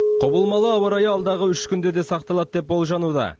құбылмалы ауа райы алдағы үш күнде де сақталады деп болжануда